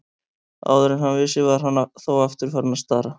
Áður en hann vissi var hann þó aftur farinn að stara.